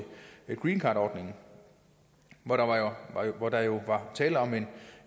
greencardordningen hvor der jo var tale om en